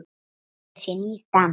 Þetta sé nýr dans.